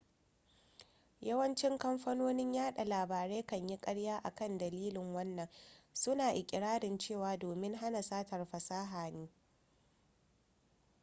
yawanci kamfanonin yaɗa labarai kan yi ƙarya akan dalilin wannan suna iƙirarin cewa domin hana satar fasaha ne